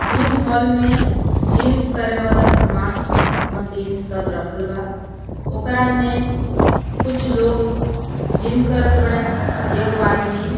gym hall में gym करे वाला समान मशीन सब रखल बा ओकरा में कुछ लोग जिम करत बाड़े एगो आदमी--